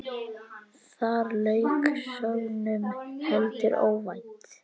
Þar lauk sögnum, heldur óvænt.